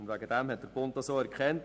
Der Bund hat das auch erkannt.